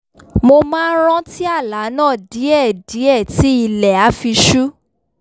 mo máa n rántí àlá náà díẹ̀díẹ̀ tí ilẹ̀ á fi ṣú